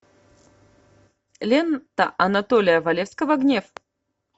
лента анатолия валевского гнев